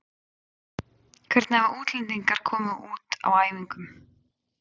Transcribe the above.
Hvernig hafa útlendingarnir komið út á æfingum?